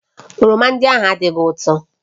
Oroma ndị ahụ adịghị ụtọ